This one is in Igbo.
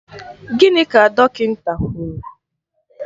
Gịnị ka dọkịnta kwụrụ?